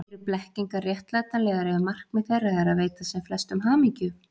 Eru blekkingar réttlætanlegar ef markmið þeirra er að veita sem flestum hamingju?